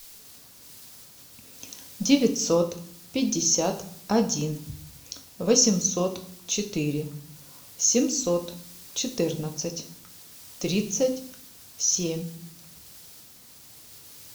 девятьсот пятьдесят один восемьсот четыре семьсот четырнадцать тридцать семь